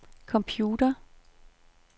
computer